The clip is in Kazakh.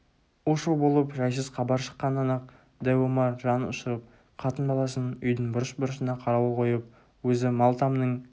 у-шу болып жайсыз хабар шыққаннан-ақ дәу омар жанұшырып қатын-баласын үйдің бұрыш-бұрышына қарауыл қойып өзі мал тамның